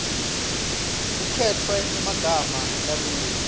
kukhetfwe emagama lalula